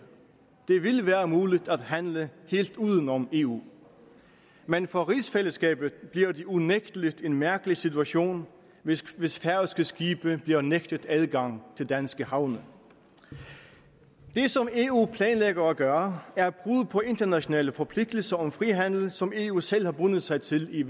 det vil være muligt at handle helt uden om eu men for rigsfællesskabet bliver det unægtelig en mærkelig situation hvis hvis færøske skibe bliver nægtet adgang til danske havne det som eu planlægger at gøre er et på internationale forpligtelser om frihandel som eu selv har bundet sig til i